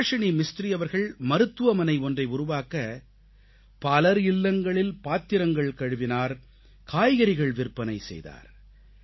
சுபாஷிணி மிஸ்த்ரி அவர்கள் மருத்துவமனை ஒன்றை உருவாக்க பலர் இல்லங்களில் பாத்திரங்கள் கழுவினார் காய்கறிகள் விற்பனை செய்தார்